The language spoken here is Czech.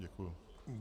Děkuji.